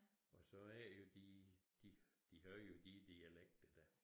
Og så er det jo de de havde jo de dialekter dér